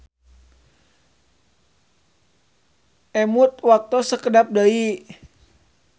Emut waktos sakedap deui.